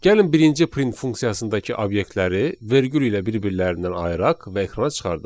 Gəlin birinci print funksiyasındakı obyektləri vergül ilə bir-birlərindən ayıraq və ekrana çıxardaq.